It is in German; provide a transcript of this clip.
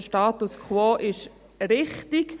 Der Status quo ist also richtig.